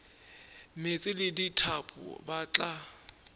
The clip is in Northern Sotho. meetse le dithapo ba tla